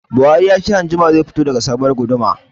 Buhari ya ce anjima zai fito da sabuwar gudumar